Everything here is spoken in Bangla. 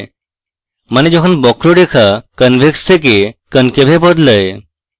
মানে যখন বক্ররেখা convex থেকে concave এ বদলায়